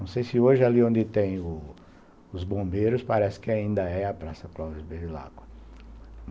Não sei se hoje ali onde tem os bombeiros parece que ainda é a Praça Clóvis Beviláqua.